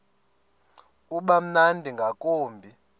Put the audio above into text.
uba mnandi ngakumbi